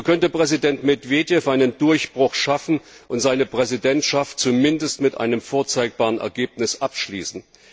Hier könnte Präsident Medvedev einen Durchbruch schaffen und seine Präsidentschaft zumindest mit einem vorzeigbaren Ergebnis abschließen.